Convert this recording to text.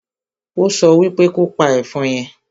Ó so wípe kopa ẹ̀fọn yẹn!